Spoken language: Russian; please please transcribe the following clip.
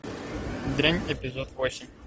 дрянь эпизод восемь